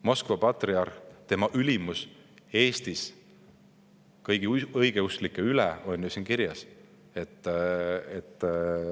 Moskva patriarh, tema ülimus Eestis kõigi õigeusklike üle – see on ju siin kirjas.